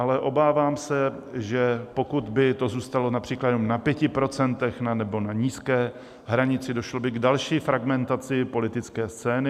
Ale obávám se, že pokud by to zůstalo například jenom na 5 % nebo na nízké hranici, došlo by k další fragmentaci politické scény.